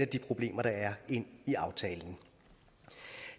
de problemer der er ind i aftalen